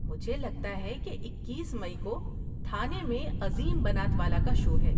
مجھے لگتا ہے کہ اکیس مئی کو تھانے میں عظیم بنات والا کا شو ہے